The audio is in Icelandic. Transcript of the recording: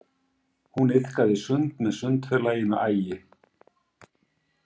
Hún iðkaði sund með Sundfélaginu Ægi.